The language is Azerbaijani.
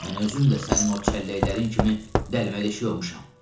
Mən özüm də sənin o çəlləklərin kimi dələmədeşik olmuşam.